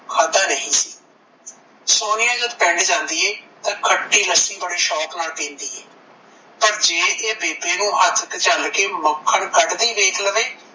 ਖਾਦਾ ਨਹੀਂ ਸੋਨੀਆ ਜਦ ਪਿੰਡ ਜਾਂਦੀ ਐ ਤਾਂ ਖੱਟੀ ਲੱਸੀ ਬੜੀ ਸ਼ੌਂਕ ਪੀਂਦੀ ਏ ਪਰ ਜੇ ਇਹ ਬੇਬੇ ਨੂੰ ਇਹ ਹੱਥ ਤੇ ਚੱਲ ਕੇ ਮੱਖਣ ਕੱਢਦੀ ਵੇਖ ਲਵੇ